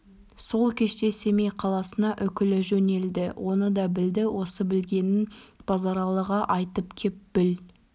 сол кеште семей қаласына үкілі жөнелді оны да білді осы білгенін базаралыға айтып кеп бүл